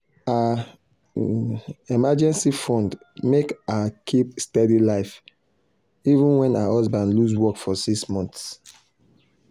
her emergency fund make her keep steady life even when her husband lose work for six months.